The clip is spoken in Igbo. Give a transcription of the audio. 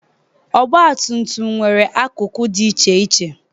Ọgbatumtum nwere akụkụ dị iche iche.